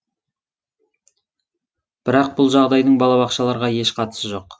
бірақ бұл жағдайдың балабақшаларға еш қатысы жоқ